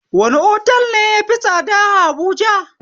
Wani otal ne yafi tsada a habuja?